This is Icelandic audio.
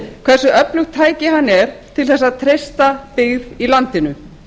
hversu öflugt tæki hann er til þess að treysta byggð í landinu